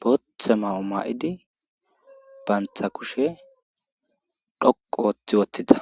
bootha mayo ma7idi bantta kushe dhoqqu oothi wothida.